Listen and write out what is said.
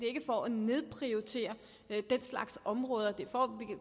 ikke for at nedprioritere den slags områder det